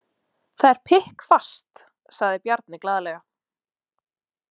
Það er pikkfast, sagði Bjarni glaðlega.